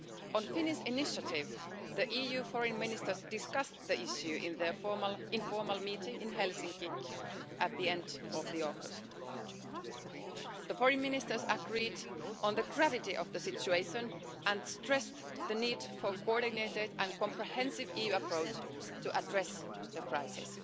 On Finland's initiative, the EU Foreign Ministers discussed the issue at their informal meeting in Helsinki at the end of the August. The Foreign Ministers agreed on the gravity of the situation and stressed the need for a coordinated and comprehensive EU approach to address the crisis.